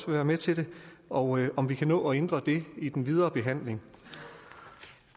være med til det og om vi kan nå at ændre det i den videre behandling